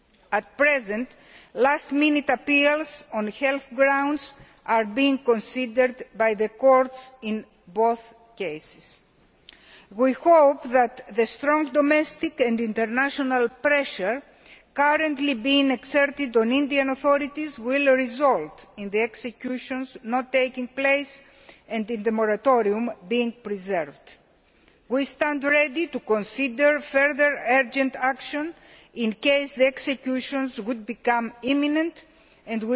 At present, last minute appeals on health grounds are being considered by the courts, in both cases. We hope that the strong domestic and international pressure currently being exerted on the Indian authorities will result in the executions not taking place, and in the moratorium being preserved. We stand ready to consider further urgent action in case the executions become imminent, and